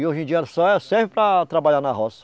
E hoje em dia ela só serve para trabalhar na roça.